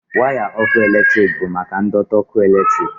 waya ọkụ eletrik bụ maka ndọtị ọkụ eletrik